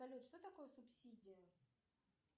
салют что такое субсидия